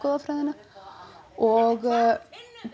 hana og